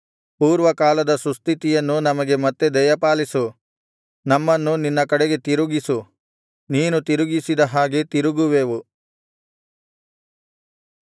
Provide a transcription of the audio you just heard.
ಪೂರ್ವಕಾಲದ ಸುಸ್ಥಿತಿಯನ್ನು ನಮಗೆ ಮತ್ತೆ ದಯಪಾಲಿಸು ನಮ್ಮನ್ನು ನಿನ್ನ ಕಡೆಗೆ ತಿರುಗಿಸು ನೀನು ತಿರುಗಿಸಿದ ಹಾಗೆ ತಿರುಗುವೆವು